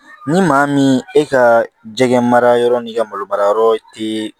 Ni maa min e ka jɛgɛ mara yɔrɔ n'i ka malo mara yɔrɔ tɛ